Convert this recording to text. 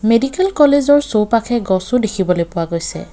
Medical college ৰ চৌপাশে গছো দেখিবলৈ পোৱা গৈছে।